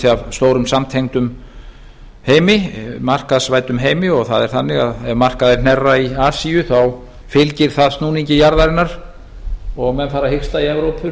af stórum samtengdum heimi markaðsvæddum heimi og það er þannig að ef markaðir hnerra í asíu þá fylgir það snúningi jarðarinnar og menn fara að hiksta í evrópu